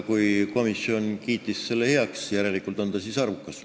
Kui komisjon kiitis selle heaks, siis järelikult on see arukas.